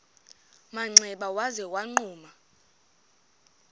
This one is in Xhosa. manxeba waza wagquma